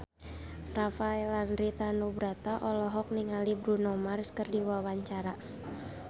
Rafael Landry Tanubrata olohok ningali Bruno Mars keur diwawancara